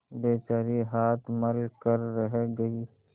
बेचारी हाथ मल कर रह गयी